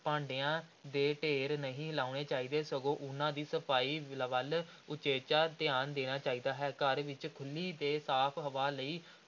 ਭਾਂਡਿਆਂ ਦੇ ਢੇਰ ਨਹੀਂ ਲਾਉਣੇ ਚਾਹੀਦੇ, ਸਗੋਂ ਉਨ੍ਹਾਂ ਦੀ ਸਫ਼ਾਈ ਵੱਲ ਉਚੇਚਾ ਧਿਆਨ ਦੇਣਾ ਚਾਹੀਦਾ ਹੈ, ਘਰ ਵਿੱਚ ਖੁੱਲ੍ਹੀ ਤੇ ਸਾਫ਼ ਹਵਾ ਲਈ